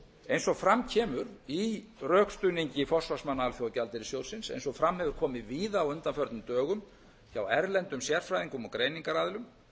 eins og fram kemur í rökstuðningi forsvarsmanna alþjóðagjaldeyrissjóðsins eins og fram hefur komið víða á undanförnum dögum hjá erlendum sérfræðingum og greiningaraðilum